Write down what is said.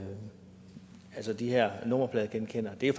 os at de her nummerpladegenkendere det er